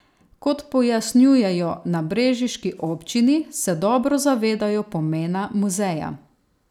Kot pojasnjujejo na brežiški občini, se dobro zavedajo pomena muzeja.